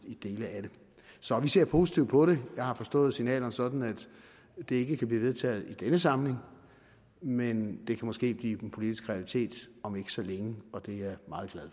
i dele af det så vi ser positivt på det jeg har forstået signalerne sådan at det ikke kan blive vedtaget i denne samling men det kan måske blive den politiske realitet om ikke så længe og det